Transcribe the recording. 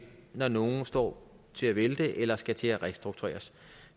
når nogen står til at vælte eller skal til at restruktureres